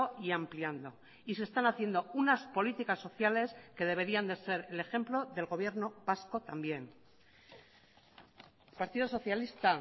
y ampliando y se están haciendo unas políticas sociales que deberían de ser el ejemplo del gobierno vasco también partido socialista